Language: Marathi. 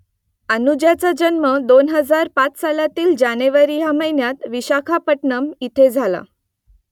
अनुजाचा जन्म दोन हजार पाच सालातील जानेवारी या महिन्यात विशाखापट्टणम इथे झाला